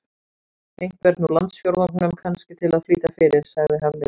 Einhvern úr landsfjórðungnum, kannski, til að flýta fyrir- sagði Hafliði.